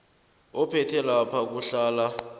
ophethe lapha kuhlala